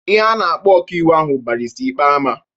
Ihe a na-akpọ ọka iwu ahụ bụ Barịsta Ikpeama.